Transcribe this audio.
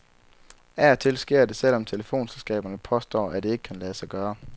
Af og til sker det selv om telefonselskaberne påstår, at det ikke kan lade sig gøre.